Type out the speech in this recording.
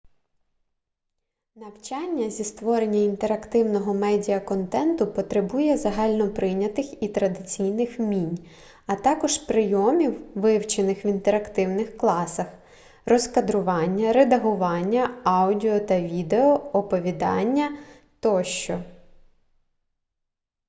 навчання зі створення інтерактивного медіаконтенту потребує загальноприйнятих і традиційних вмінь а також прийомів вивчених в інтерактивних класах розкадрування редагування аудіо та відео оповідання тощо